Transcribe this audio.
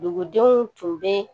Dugudenw tun bɛ